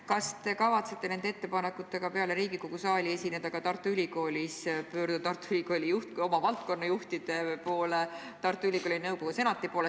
Kas te kavatsete nende ettepanekutega peale Riigikogu saali esineda ka Tartu Ülikoolis, pöörduda Tartu Ülikooli juhtide, oma valdkonna juhtide poole, Tartu Ülikooli nõukogu senati poole?